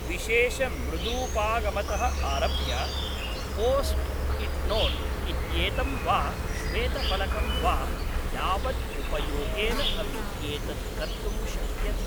विशेषमृदूपागमतः आरभ्य पोस्ट्इट्नोट् इत्येतं वा श्वेतफलकं वा यावद् उपयोगेन अपि एतत् कर्तुं शक्यते।